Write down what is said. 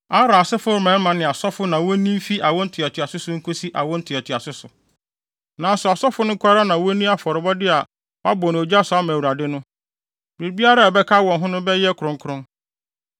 Aaron asefo mmarima ne asɔfo na wonni mfi awo ntoatoaso so nkosi awo ntoatoaso so. Nanso asɔfo no nko ara na wonni afɔrebɔde a wɔabɔ no ogya so ama Awurade no. Biribiara a ɛbɛka wɔn no bɛyɛ kronkron.’ ”